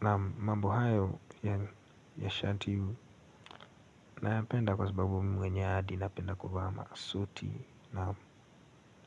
Naam mambo hayo ya shati nayapenda kwa sababu mimi mwenye hadi napenda kuvaa masuti.